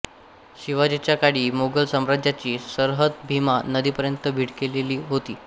शिवाजीच्या काळी मोगल सामाराज्याची सरहद भीमा नदीपर्यंत भिडलेली होती